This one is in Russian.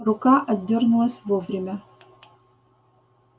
рука отдёрнулась вовремя